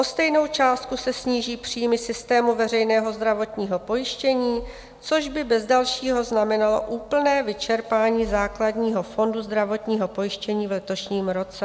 O stejnou částku se sníží příjmy systému veřejného zdravotního pojištění, což by bez dalšího znamenalo úplné vyčerpání základního fondu zdravotního pojištění v letošním roce.